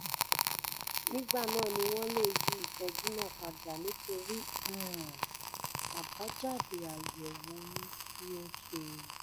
nígbà náà ni wọ́n lè yí ìtọ́jú náà padà nítorí um àbájáde àyẹ̀wò ọyún tí o ṣe